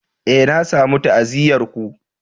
Eh, na samu ta'aziyyar ku.